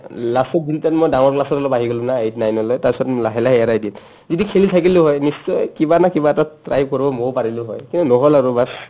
last তত ঘূৰিতান মই ডাঙৰ class ত অলপ আহি গ'লো না eight-nine লৈ তাচত লাহে লাহে এৰাই দিয়ে যদি খেলি থাকিলো হৈ নিশ্চয় কিবা নহয় কিবা এটাত try কৰিব ময়ো পাৰিলো হৈ কিন্তু নহ'ল আৰু baas